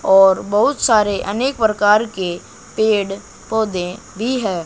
और बहुत सारे अनेक प्रकार के पेड़ पौधे भी है।